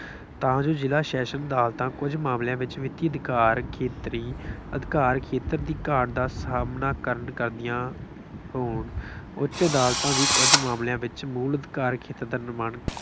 ਤਾਂ ਜੋ ਜਿਲ੍ਹਾ ਸ਼ੈਸ਼ਨ ਅਦਾਲਤਾਂ ਕੁੱਝ ਮਾਮਲਿਆਂ ਵਿੱਚ ਵਿੱਤੀ ਅਧਿਕਾਰ ਖੇਤਰੀ ਅਧਿਕਾਰ ਖੇਤਰ ਦੀ ਘਾਟ ਦਾ ਸਾਹਮਣਾ ਕਰਨ ਕਰਦੀਆਂ ਹੋਣ। ਉੱਚ ਅਦਾਲਤਾਂ ਵੀ ਕੁੱਝ ਮਾਮਲਿਆਂ ਵਿੱਚ ਮੂਲ ਅਧਿਕਾਰ ਖੇਤਰ ਦਾ ਨਿਰਮਾਣ